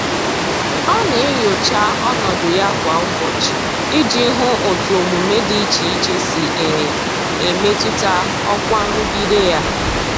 Ọ na-enyocha ọnọdụ ya kwa ụbọchị iji hụ otu omume dị iche iche si e e metụta ọkwa nrụgide ya.